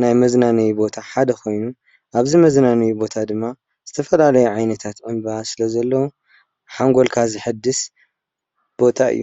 ናይ መዝናነይ ቦታ ሓደ ኮይኑ መዝናነይ ቦታ ድማ ዝተፈላለዩ ዕንበባታት ስለ ዘለው ሃንጎልካ ዘሕድስ ቦታ እዩ።